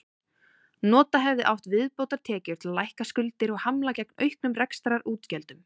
Nota hefði átt viðbótartekjur til að lækka skuldir og hamla gegn auknum rekstrarútgjöldum.